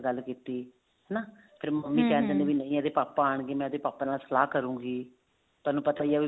ਗੱਲ ਕੀਤੀ ਹਨਾ ਫੇਰ ਮੰਮੀ ਕਹਿੰਦੇ ਨੇ ਵੀ ਨਹੀਂ ਇਹਦੇ ਪਾਪਾ ਆਉਣਗੇ ਮੈਂ ਇਹਦੇ ਪਾਪਾ ਨਾਲ ਸਲਾਹ ਕਰੁਂਗੀ ਤੁਹਾਨੂੰ ਪਤਾ ਹੀ ਹੈ ਵੀ